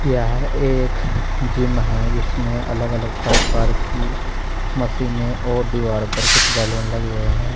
यह एक जिम है जिसमें अलग अलग प्रकार की मशीने और दीवार पर कुछ बैलून लगे हुए हैं।